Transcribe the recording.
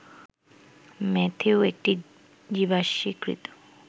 Matthew একটি জীবাশ্মীকৃত